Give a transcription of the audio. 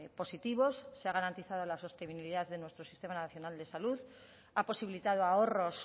positivos se ha garantizado la sostenibilidad de nuestro sistema nacional de salud ha posibilitado ahorros